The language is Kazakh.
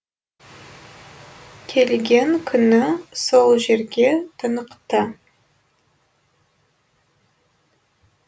келген күні сол жерге тынықты